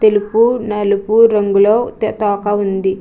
తెలుపు నలుపు రంగులో త-తోక ఉంది.